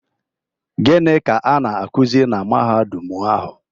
Gịnị ka a na-akuzi na Mahadum ahụ?